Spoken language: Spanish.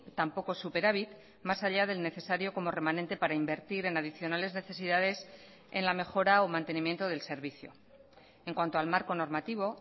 tampoco superávit más allá del necesario como remanente para invertir en adicionales necesidades en la mejora o mantenimiento del servicio en cuanto al marco normativo